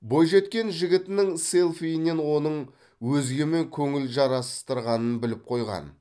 бойжеткен жігітінің селфиінен оның өзгемен көңіл жарастырғанын біліп қойған